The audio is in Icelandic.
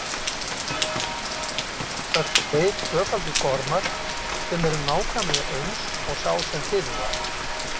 Þannig myndast tveir tvöfaldir gormar sem eru nákvæmlega eins og sá sem fyrir var.